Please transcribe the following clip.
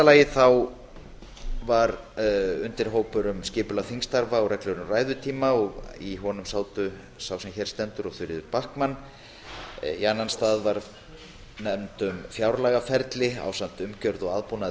lagi var undirhópur um skipulag þingstarfa og reglur um ræðutíma og í honum sátu birgir ármannsson og þuríður backman í annan stað var nefnd um fjárlagaferlið ásamt umgjörð og aðbúnaði